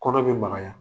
Kɔnɔ bɛ magaya